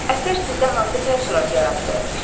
Əsər sizdə hansı təəssürat yaratdı?